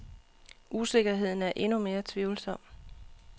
Usikkerheden er endnu mere tvivlsom.